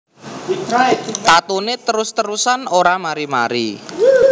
Tatune terus terusan ora mari mari